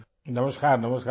نمسکار، نمسکار